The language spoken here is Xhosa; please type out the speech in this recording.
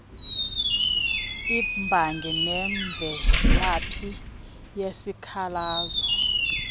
imbangi nemvelaphi yesikhalazo